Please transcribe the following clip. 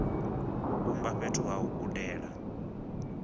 vhumba fhethu ha u gudela